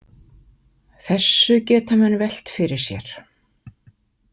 Þessu geta menn velt fyrir sér.